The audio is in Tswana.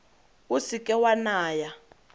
o se ke wa naya